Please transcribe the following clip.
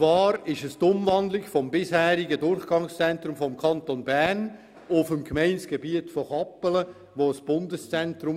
Dabei handelt es sich um die Umwandlung des bisherigen Durchgangszentrums des Kantons Bern auf dem Gemeindegebiet von Kappelen in ein Bundeszentrum.